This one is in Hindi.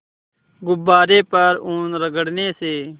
गुब्बारे पर ऊन रगड़ने से